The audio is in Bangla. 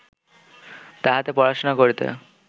তাহাতে পড়াশুনা করিতে